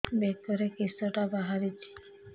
ବେକରେ କିଶଟା ବାହାରିଛି